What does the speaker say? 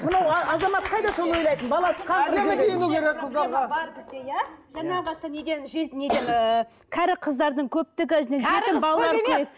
неден ііі кәрі қыздардың көптігі